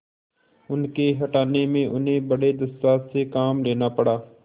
उनके हटाने में उन्हें बड़े दुस्साहस से काम लेना पड़ा